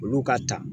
Olu ka ta